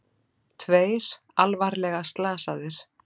Tveir alvarlega slasaðir